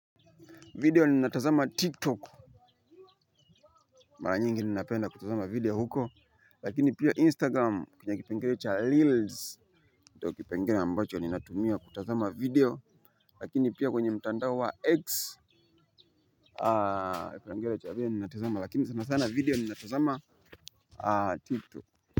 Video ninatazama tiktok. Mara nyingi ninapenda kutazama video huko. Lakini pia instagram kwenye kipengele cha reels ndio kipengele ambacho ninatumia kutazama video. Lakini pia kwenye mtandao wa x Aaaa kipengele cha video ninatazama lakini sana sana video ninatazama tiktok.